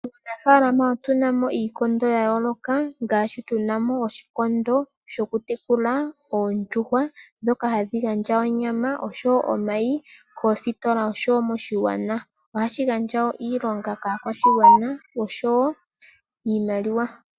Muunafaalama otu na mo iikondo ya yooloka, ngaashi tu na mo oshikondo shoku tekula oondjuhwa, ndhoka hadhi gandja onyama osho wo omayi, koositola osho wo moshigwana. Oha shi gandja wo iilonga kaakwashigwana, osho wo iimaliwa.